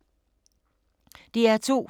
DR2